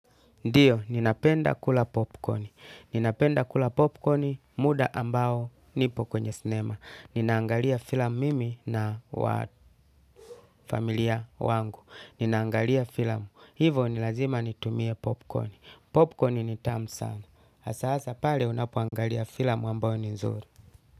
Ndiyo, ninapenda kula popkoni. Ninapenda kula popcorni muda ambao nipo kwenye sinema. Ninaangalia filamu mimi na familia wangu. Ninaangalia filamu. Hivo ni lazima nitumie popcorni. Popcorni ni tamu sana. Asaasa pale unapoangalia filamu ambao ni zuri.